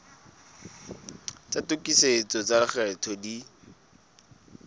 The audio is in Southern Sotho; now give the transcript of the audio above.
tsa tokisetso tsa lekgetho di